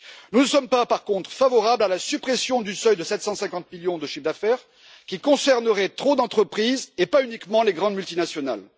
Par contre, nous ne sommes pas favorables à la suppression du seuil de 750 millions de chiffre d'affaires, qui concernerait trop d'entreprises et pas uniquement les grandes multinationales.